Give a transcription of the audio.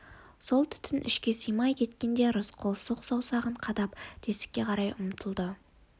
сол түтін ішке сыймай кеткенде рысқұл сұқ саусағын қадап тесікке тұра ұмтылады